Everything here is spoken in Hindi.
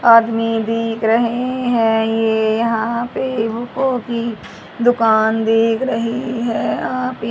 आदमी दिख रहे हैं ये यहां पे बूको की दुकान दिख रही है आप--